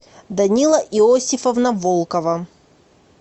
данила иосифовна волкова